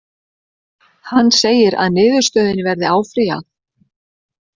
Hann segir að niðurstöðunni verði áfrýjað